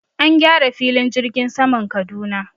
An gyara filin jirgin saman Kaduna.